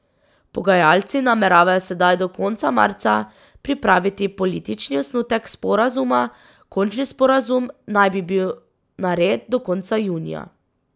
Pogajalci nameravajo sedaj do konca marca pripraviti politični osnutek sporazuma, končni sporazum naj bi bil nared do konca junija.